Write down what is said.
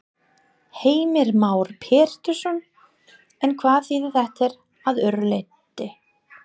Heimir Már Pétursson: En hvað þýðir þetta að öðru leyti?